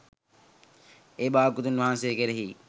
ඒ භාග්‍යවතුන් වහන්සේ කෙරෙහි